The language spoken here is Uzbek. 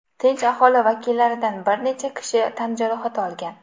Tinch aholi vakillaridan bir necha kishi tan jarohati olgan.